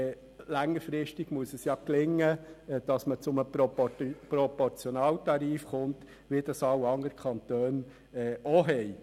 Längerfristig muss es gelingen, zu einem Proportionaltarif zu gelangen, wie ihn alle anderen Kantone auch haben.